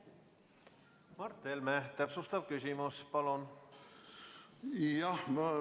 Mart Helme, täpsustav küsimus, palun!